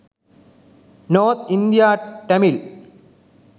north india tamil